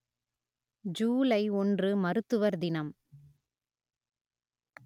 ஜூலை ஒன்று மருத்துவர் தினம்